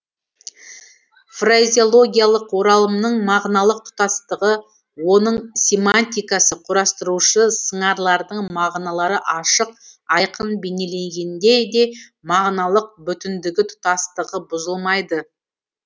фразеологиялық оралымның мағыналық тұтастығы оның семантикасы құрастырушы сыңарлардың мағыналары ашық айқын бейнелегенде де мағыналық бүтіндігі тұтастығы бұзылмайды